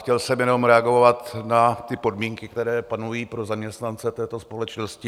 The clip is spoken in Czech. Chtěl jsem jenom reagovat na ty podmínky, které panují pro zaměstnance této společnosti.